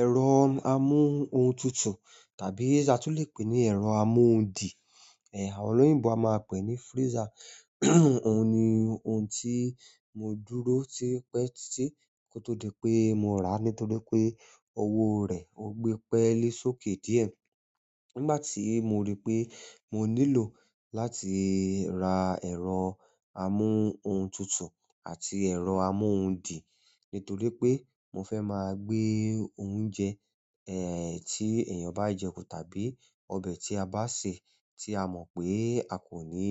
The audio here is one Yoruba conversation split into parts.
Ẹ̀rọ amú ohun tutù tàbí tí a lè pè ní ẹ̀rọ amú ohun dì, àwọn olóyìnbo a máa pè ní freezer. Oun ni ohun ti mo dúró ti o pẹ titi ko to dipe mo ra nítorí pe owo rẹ o gbe pẹli sókè diẹ. Nígbà tí mo rí pé mo nílò láti ra ẹ̀rọ amú ohun tutù àti ẹ̀rọ amú ohun dì nítorí pé mo fẹ́ máa gbé oúnjẹ tí èèyàn bá jẹ kú tàbí ọbẹ̀ tí a bá sè tí a mọ̀ pé a kò ní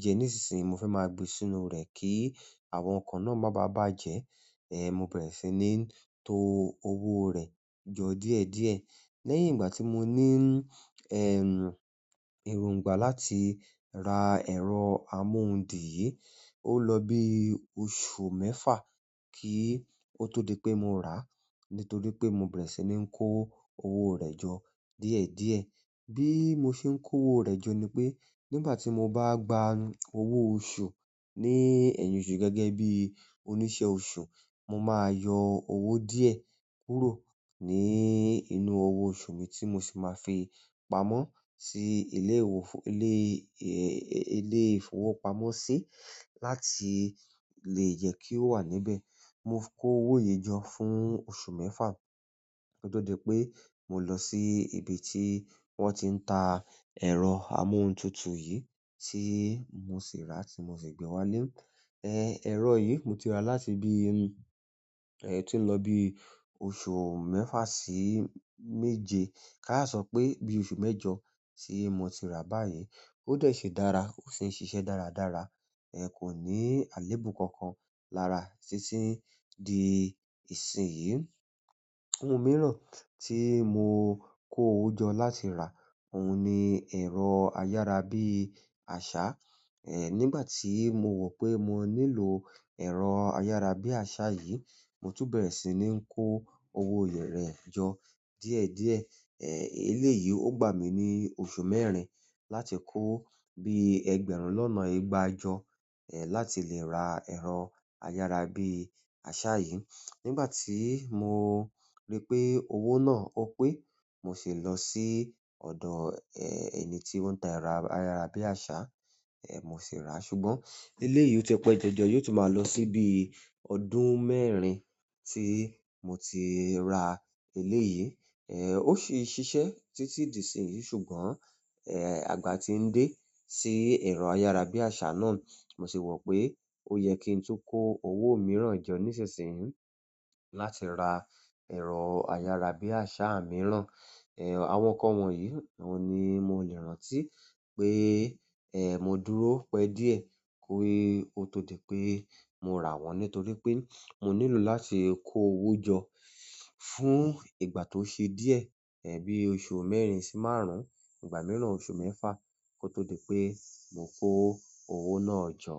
jẹ ní ìsinsìnyí, mo fẹ́ máa gbé sínú rẹ̀ kí àwọn nǹkan náà máa ba à bàjẹ́. Mo bẹrẹ si ni to owo rẹ jọ díẹ̀díẹ̀. Lẹ́yìn ìgbà ti mo ni erongba láti ra ẹrọ amu ohun di yi. Ó lọ bí oṣù mẹ́fà kí ó tó di pé mo rà á nítorí pé mo bẹ̀rẹ̀ sí ní kó owó rẹ̀ jọ díẹ̀díẹ̀. Bi mo se n ko owo rẹ jọ nipe nígbà ti mo ba gba owo oṣù ni ẹyin oṣù gẹgẹbi onisẹ oṣù, mo maa yọ owo diẹ kúrò nínú owo oṣù mi ti mo si maa fi pamọ́ si ile ile ìfowópamọ́ si láti le jẹ ki o wa níbẹ̀. Mo kó owó yìí jọ fún oṣù mẹ́fà kó tó di pé mo lọ sí ibi tí wọ́n ti ń ta ẹ̀rọ amú ohun tutù yìí tí mo sì rà á tí mo sì gbé wá ílé. Ẹ̀rọ yìí mo ti rà láti bí tí ó ń lọ bí oṣù mẹ́fà sí méje. Káà sọ pé bí oṣù mẹ́jọ tí mo ti rà báyìí. Ó dẹ si dára ó sì ń ṣiṣẹ́ dáradára. Kò ní àléébù kankan lára títí di ìsìn yìí. Ohun mìíràn tí mo kó owó jọ láti rà, òun ni ẹ̀rọ ayárabíàṣá. Nígbà tí mo wọ̀ pé mo nílò ẹ̀rọ ayárabíàṣá yìí, mo tún bẹ̀rẹ̀ sí ní kó owó rẹ̀ jọ díẹ̀díẹ̀. Eleyi o gba mi ni oṣù mẹ́rin láti ko bi ẹgbẹ̀rún lọna ìgbà jọ láti le ra ẹrọ ayarabiasa yi. Nígbà tí mo rí pé owó náà ó pé, mo sì lọ sí ọ̀dọ̀ ẹni tí ó ń ta ẹ̀rọ ayárabíàṣá, mo sì rà á. Ṣùgbọ́n eleyìí ó ti pẹ́ jọjọ yóò tún máa lọ sí bí ọdún mẹ́rin tí mo ti ra eleyìí. Ó sì ń ṣiṣẹ́ títí di ìsìn yìí. Ṣùgbọ́n àgbà tí ń dé sí ẹ̀rọ ayárabíàṣá náà. Mo si wo pe o yẹ ki n tun ko owo miran jọ nísinsìnyí láti ra ẹrọ ayarabiasa miran. Àwọn nǹkan wọ̀nyí oun ni mo le rántí pe mo dúró pẹ diẹ ki o to dipe mo rawọn nítorí pe mo nílò láti ko owo jọ fún ìgbà to se diẹ bi oṣù mẹ́rin su márùn ìgbà miran oṣù mẹfa kó tó di pé mo kó owó náà jọ.